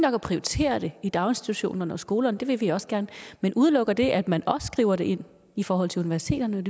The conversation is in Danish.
at prioritere det i daginstitutionerne og skolerne det vil vi også gerne men udelukker det at man også skriver det ind i forhold til universiteterne